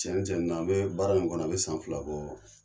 Cɛn cɛn na an bɛ baara in kɔnɔ a bɛ san fila bɔ.